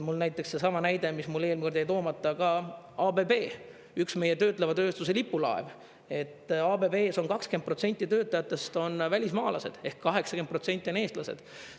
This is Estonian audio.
Näiteks seesama näide, mis mul eelmine kord jäi toomata, ka ABB, üks meie töötleva tööstuse lipulaev – ABB-s on 20% töötajatest välismaalased, 80% on eestlased.